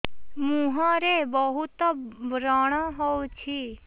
ମୁଁହରେ ବହୁତ ବ୍ରଣ ହଉଛି